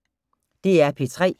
DR P3